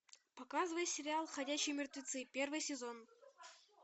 показывай сериал ходячие мертвецы первый сезон